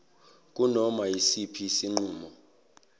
kunoma yisiphi isinqumo